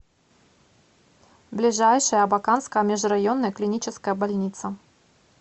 ближайший абаканская межрайонная клиническая больница